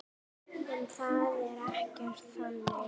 En það er ekkert þannig.